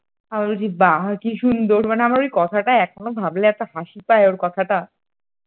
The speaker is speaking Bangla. আমি বলছি বা কি সুন্দর মানে আমার ওই কথাটা এখনো ভাবলে এত হাসি পায় ওর কথাটা,